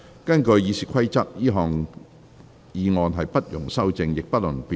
根據《議事規則》，這項議案不容修正，亦不容辯論。